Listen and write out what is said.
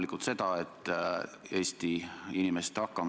Pikendamist menetleti muidu teist korda.